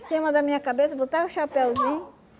cima da minha cabeça, botava o chapeuzinho.